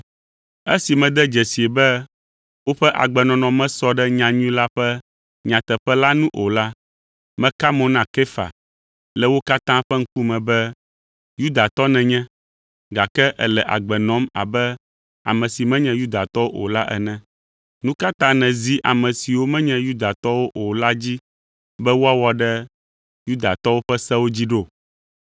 Esi mede dzesii be woƒe agbenɔnɔ mesɔ ɖe nyanyui la ƒe nyateƒe la nu o la, meka mo na Kefa le wo katã ƒe ŋkume be, “Yudatɔ nènye, gake èle agbe nɔm abe ame si menye Yudatɔwo o la ene. Nu ka ta nèzi ame siwo menye Yudatɔwo o la dzi be woawɔ ɖe Yudatɔwo ƒe sewo dzi ɖo?